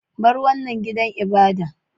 Bar wanan gidan ibadan!